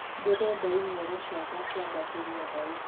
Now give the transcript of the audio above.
ndĩrenda imero cĩakwa ciambatirwo thaũtĩ